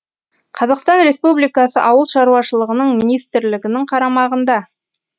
қазақстан республикасы ауыл шаруашылығының министрлігінің қарамағында